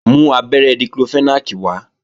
Mú abẹ́rẹ́ Diclofenac wá!